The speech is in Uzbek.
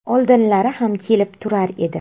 Oldinlari ham kelib turar edi.